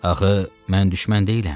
Axı mən düşmən deyiləm.